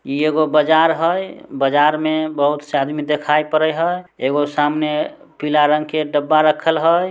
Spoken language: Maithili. ई एगो बाजार हई बाजार में बहुत से आदमी दिखाई पड़ई हई एगो सामने पीले रंग के डब्बा रखल हई।